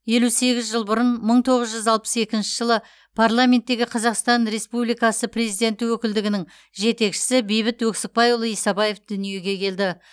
елу сегіз жыл бұрын мың тоғыз жүз алпыс екінші парламенттегі қазақстан республикасы президенті өкілдігінің жетекшісі бейбіт өксікбайұлы исабаев дүниеге келді